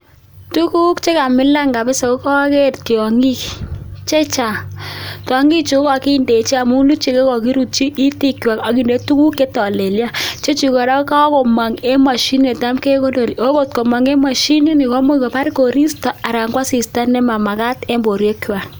Tuguuk chekamilan mising KO tyangik chechang Chemiten wiyaan